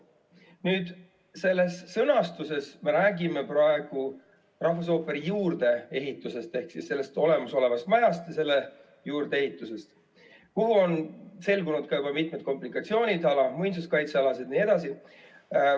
Praeguses sõnastuses me räägime rahvusooperi juurdeehitusest ehk olemasolevast majast ja selle juurdeehitusest, kus on selgunud ka juba mitmed komplikatsioonid, muinsuskaitsealased jne.